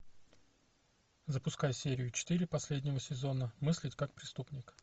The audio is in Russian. запускай серию четыре последнего сезона мыслить как преступник